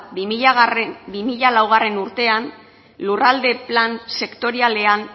bi mila laugarrena urtean lurralde plan sektorialean